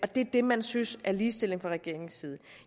det er det man synes er ligestilling fra regeringens side